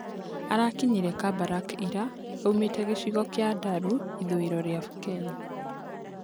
Arakinyire Kabarak ira aumĩ te gĩ cigo kĩ a Ndaru ithũĩ ro rĩ a Kenya.